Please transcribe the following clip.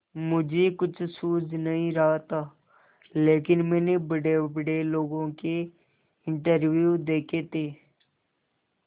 मुझे कुछ सूझ नहीं रहा था लेकिन मैंने बड़ेबड़े लोगों के इंटरव्यू देखे थे